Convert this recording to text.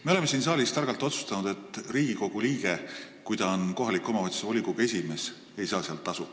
Me oleme siin saalis targalt otsustanud, et kui Riigikogu liige on kohaliku omavalitsuse volikogu esimees, siis ta ei saa seal tasu.